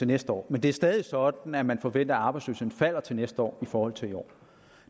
næste år men det er stadig sådan at man forventer at arbejdsløsheden falder til næste år i forhold til i år